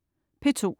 P2: